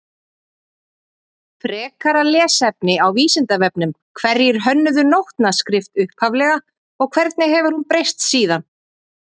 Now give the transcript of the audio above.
Frekara lesefni á Vísindavefnum Hverjir hönnuðu nótnaskrift upphaflega og hvernig hefur hún breyst síðan?